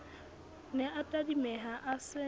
ne a tadimeha a se